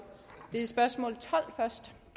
læse spørgsmålet